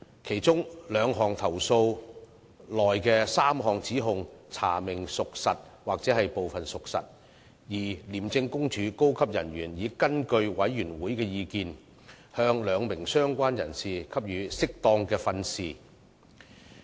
其中2宗投訴內的3項指控查明屬實或部分屬實，而廉政公署高級人員已根據委員會的意見，向2名相關人士給予適當的訓示。